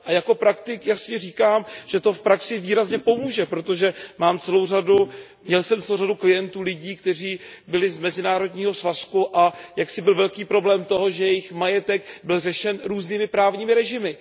A jako praktik jasně říkám, že to v praxi výrazně pomůže, protože jsem měl celou řadu klientů, lidí, kteří byli z mezinárodního svazku, a jaksi byl velký problém toho, že jejich majetek byl řešen různými právními režimy.